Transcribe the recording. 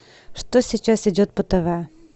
что сейчас идет по тв